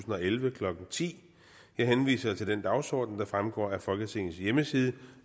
og elleve klokken ti jeg henviser til den dagsorden der fremgår af folketingets hjemmeside